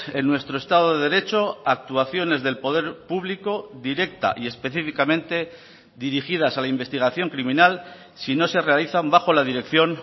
en nuestro estado de derecho actuaciones del poder público directa y específicamente dirigidas a la investigación criminal si no se realizan bajo la dirección